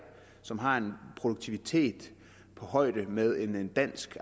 som har en produktivitet på højde med en dansk